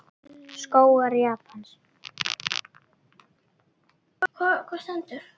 Skógar Japans